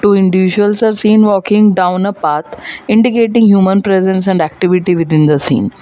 two individuals are seen walking down a path indicating human presence and activity within the scene.